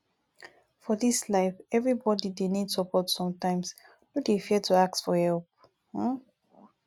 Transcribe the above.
for dis life everybodi dey need support sometimes no dey fear to ask for help um